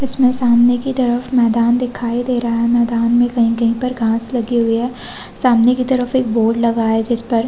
इसमें सामने की तरफ मैदान दिखाई दे रहा है मैदान में कहीं- कहीं पर घास लगे हुए है सामने की तरफ एक बोर्ड लगा है जिसपर --